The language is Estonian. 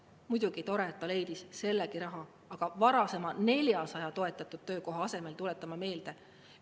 Muidugi tore, et ta leidis sellegi raha, aga seda varasema 400 toetatud töökoha asemel, tuletan ma meelde.